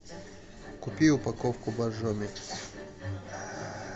купи упаковку боржоми